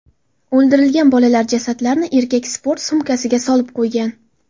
O‘ldirilgan bolalar jasadlarini erkak sport sumkasiga solib qo‘ygan.